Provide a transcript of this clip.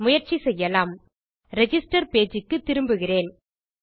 முயற்சி செய்யலாம் register page க்கு திரும்புகிறேன்